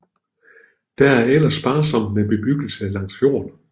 Der er ellers sparsomt med bebyggelse langs fjorden